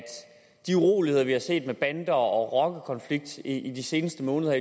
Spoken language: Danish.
de uroligheder vi har set med bander og rockerkonflikt i de seneste måneder